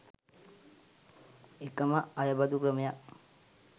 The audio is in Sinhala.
එකම අයබදු ක්‍රමයක්